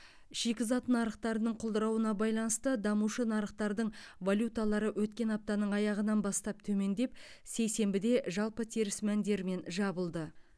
шикізат нарықтарының құлдырауына байланысты дамушы нарықтардың валюталары өткен аптаның аяғынан бастап төмендеп сейсенбіде жалпы теріс мәндермен жабылды